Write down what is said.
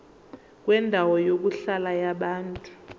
kwendawo yokuhlala yabantu